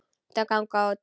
Þau ganga út.